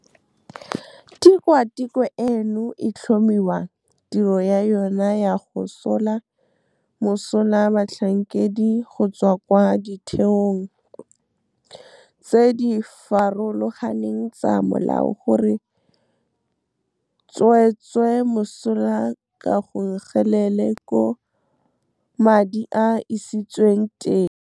Tikwa tikwe eno e tlhomiwa, tiro ya yona ya go sola mosola batlhankedi go tswa kwa ditheong tse di farologaneng tsa molao go re tswetse mosola ka 'go nkgelela koo madi a isitsweng teng'. Tikwa tikwe eno e tlhomiwa, tiro ya yona ya go sola mosola batlhankedi go tswa kwa ditheong tse di farologaneng tsa molao go re tswetse mosola ka 'go nkgelela koo madi a isitsweng teng'.